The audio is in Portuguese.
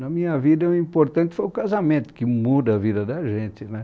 Na minha vida, o importante foi o casamento, que muda a vida da gente né